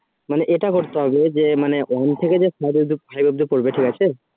মানে এটা করতে হবে যে মানে one থেকে five অব্দি করবে ঠিক আছে